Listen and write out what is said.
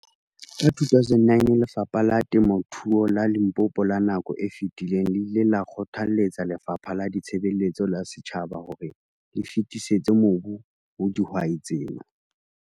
Ka 2009, Lefapha la Temothuo la Limpopo la nako e fetileng le ile la kgothaletsa Lefapha la Ditshebeletso tsa Setjhaba hore le fetisetse mobu ho dihwai tsena.